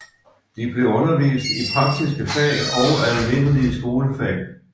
De blev undervist i praktiske fag og almindelige skolefag